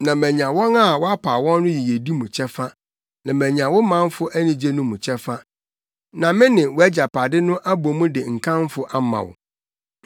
na manya wɔn a wapaw wɔn no yiyedi mu kyɛfa, na manya wo manfo anigye no mu kyɛfa, na me ne wʼagyapade no abɔ mu de nkamfo ama wo.